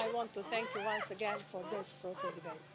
I want to thank you once again for this fruitful debate.